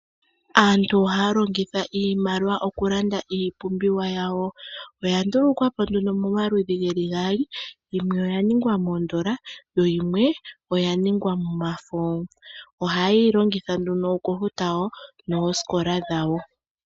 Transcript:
Aantu ohaya longitha iimaliwa okulanda iipumbiwa yawo. Oya ndulukwa po nduno momaludhi ge li gaali, yimwe oya ningwa moodola, yo yimwe oya ninga momafo. Ohaye yi longitha nduno okufuta wo noosikola dhawo.